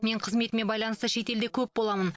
мен қызметіме байланысты шетелде көп боламын